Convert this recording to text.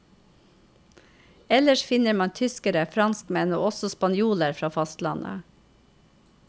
Ellers finner man tyskere, franskmenn og også spanjoler fra fastlandet.